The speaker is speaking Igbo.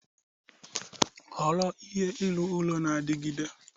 Họrọ ihe ịrụ ụlọ na-adigide.